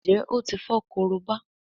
Njé o tí fo Korobá?